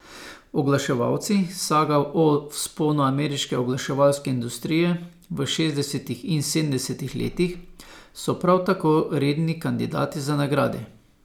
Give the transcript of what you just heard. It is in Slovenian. Oglaševalci, saga o vzponu ameriške oglaševalske industrije v šestdesetih in sedemdesetih letih, so prav tako redni kandidati za nagrade.